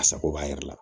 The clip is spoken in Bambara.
A sago b'a yɛrɛ la